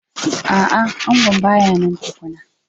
A'a, angon ba ya nan tukuna.